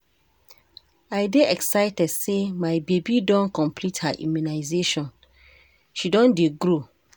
I dey exited sey my baby don complete her immunization, she don dey grow.